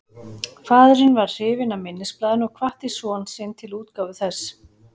Faðirinn varð hrifinn af minnisblaðinu og hvatti son sinn til útgáfu þess.